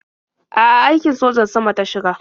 A'a, aikin sojan sama ta shiga.